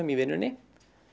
í vinnunni